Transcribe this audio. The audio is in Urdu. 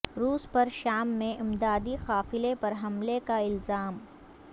روس پر شام میں امدادی قافلے پر حملے کا الزام